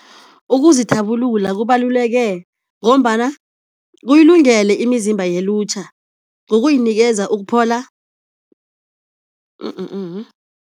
Ukuzithabulula kubaluleke ngombana kuyilungele imizimba yelutjha ngokuyinikeza ukuphola